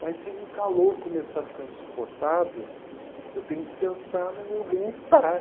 Mas se o calor começar a ficar insuportável, eu tenho que pensar no meu bem-estar.